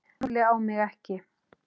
Lúlli á mig ekki.